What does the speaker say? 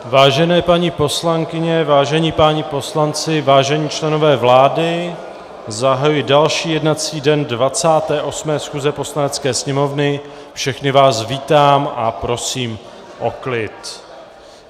Vážené paní poslankyně, vážení páni poslanci, vážení členové vlády, zahajuji další jednací den 28. schůze Poslanecké sněmovny, všechny vás vítám a prosím o klid.